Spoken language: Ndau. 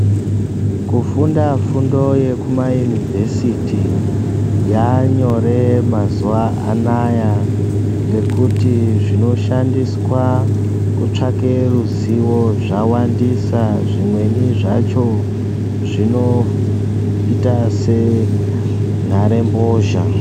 Kufunda fundo yekuma yunivhesiti mazuwa anaya zvaanyore ngekuti zvinoshandiswa kutsvaka ruziwo zvawandisa , zvimweni zvinoita sentarembozha.